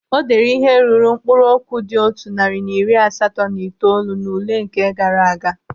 O deere ihe ruru mkpụrụ okwu dị otu narị na iri asatọ na itoolu n'ule nke gaara aga?